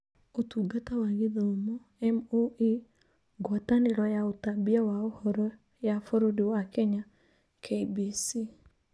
Ũtungata wa Gĩthomo (MoE), Ngwatanĩro ya ũtambia wa Ũhoro ya bũrũri wa Kenya (KBC)